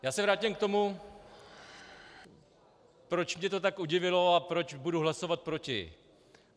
Já se vrátím k tomu, proč mě to tak udivilo a proč budu hlasovat proti.